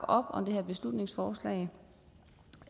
om det her beslutningsforslag